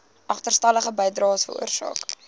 agterstallige bydraes veroorsaak